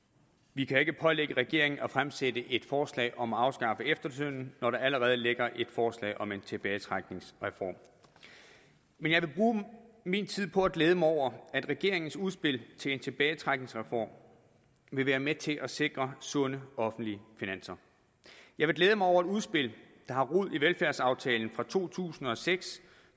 vi kan ikke pålægge regeringen at fremsætte et forslag om at afskaffe efterlønnen når der allerede ligger et forslag om en tilbagetrækningsreform men jeg vil bruge min tid på at glæde mig over at regeringens udspil til en tilbagetrækningsreform vil være med til at sikre sunde offentlige finanser jeg vil glæde mig over et udspil der har rod i velfærdsaftalen fra to tusind og seks